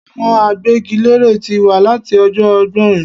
Àwọn agbégilére tí wà láti ọjọ́ ọgbọ́in